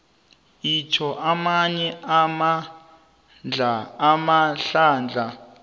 itjho amanye amahlandla